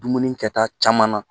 Dumuni kɛta caman na